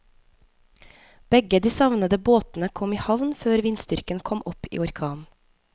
Begge de savnede båtene kom i havn før vindstyrken kom opp i orkan.